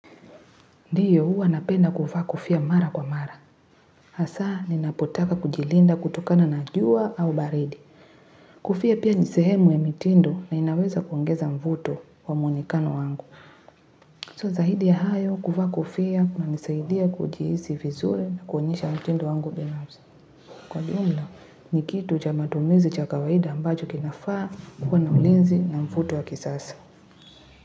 Ndiyo huwa napenda kuvaa kofia mara kwa mara. Hasaa ninapotaka kujilinda kutokana na jua au baridi. Kofia pia ni sehemu ya mitindo na inaweza kuongeza mvuto wa mwonekano wangu. So zaidi ya hayo kuvaa kofia kunanisaidia kujihisi vizuri na kuonyesha mtindo wangu binafsi. Kwa jumla, ni kitu cha matumizi cha kawaida ambacho kinafaa kuwa na ulinzi na mvuto wa kisasa.